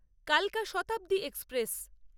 কালকা শতাব্দী এক্সপ্রেস